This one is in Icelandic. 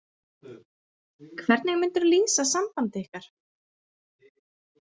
Hvernig myndirðu lýsa sambandi ykkar?